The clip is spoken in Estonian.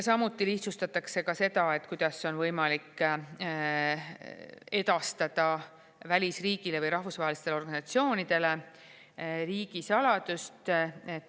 Samuti lihtsustatakse seda, kuidas on võimalik edastada välisriigile või rahvusvahelistele organisatsioonidele riigisaladust.